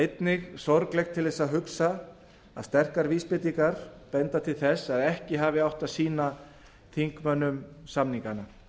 einnig sorglegt til þess að hugsa að sterkar vísbendingar benda til þess að ekki hafi átt að sýna þingmönnum samningana